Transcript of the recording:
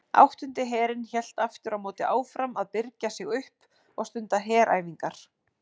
Áttundi herinn hélt aftur á móti áfram að birgja sig upp og stunda heræfingar.